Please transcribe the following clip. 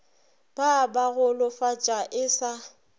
ba ba golofatša e sa